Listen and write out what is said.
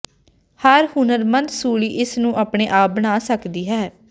ਹਰ ਹੁਨਰਮੰਦ ਸੂਲੀ ਇਸ ਨੂੰ ਆਪਣੇ ਆਪ ਬਣਾ ਸਕਦੀ ਹੈ